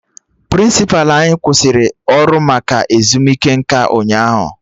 Prịnsịpa anyị kwụsịrị ọrụ maka ezumike nka ụnyaahụ